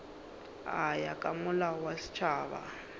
ya ka molao wa setšhaba